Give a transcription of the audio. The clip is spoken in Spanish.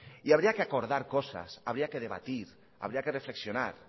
y habría que acordar cosas habría que debatir habría que reflexionar